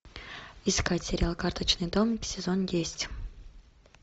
искать сериал карточный дом сезон десять